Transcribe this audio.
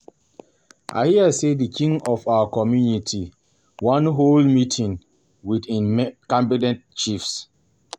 I hear say the King of our community wan hold meeting with im cabinet Chiefs